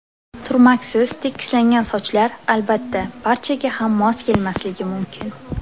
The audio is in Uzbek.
Turmaksiz, tekislangan sochlar, albatta, barchaga ham mos kelmasligi mumkin.